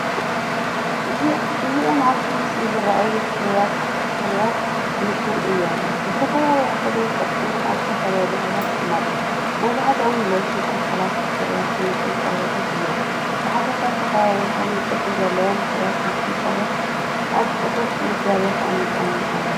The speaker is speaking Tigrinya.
እዚኦም ኣብቲ ምስሊ ዝረኣዩ ፍርያት ክንክን እዮም። ብዝተፈላለየ ሕብርን ቅርጽን ኣብ ዝተፈላለየ ቦታታት ይቕመጡ። መብዛሕትኦም ሎሽን ኣካላትን ፍርያት ክንክን ቆርበትን እዮም። ብሓፈሻ ዝተፈላለየ ሕብርን ቅርጽን ዘለዎም ፍርያት ክንክን ቆርበት ኣብ ጽፉፍ ምድብ ተቐሚጦም ኣለዉ።